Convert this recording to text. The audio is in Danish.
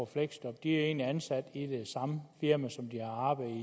fleksjob egentlig bliver ansat i det samme firma som de arbejdede